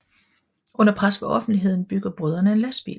Under pres fra offentligheden bygger brødrene en lastbil